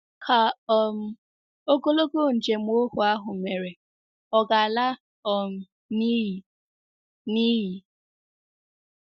Ka um ogologo njem ohu ahụ mere ọ̀ ga-ala um n’iyi? n’iyi?